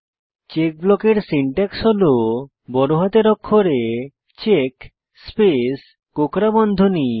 check ব্লকের syntax হল বড় হাতের অক্ষরে চেক স্পেস কোঁকড়া বন্ধনী